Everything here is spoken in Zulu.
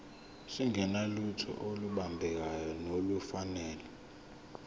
singenalutho olubambekayo nolufanele